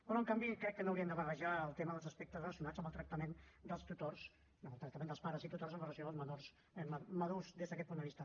però en canvi crec que no hi hauríem de barrejar el tema dels aspectes relacionats amb el tractament dels pares i tutors amb relació als menors madurs des d’aquest punt de vista